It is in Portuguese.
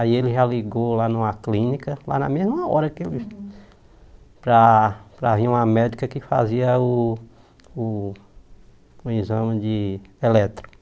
Aí ele já ligou lá numa clínica, lá na mesma hora que ele... Para para vir uma médica que fazia o o o exame de eletro.